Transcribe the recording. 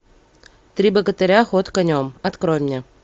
три богатыря ход конем открой мне